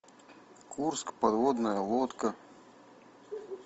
курск подводная лодка